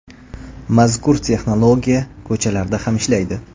Mazkur texnologiya ko‘chalarda ham ishlaydi.